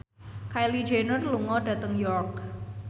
Kylie Jenner lunga dhateng York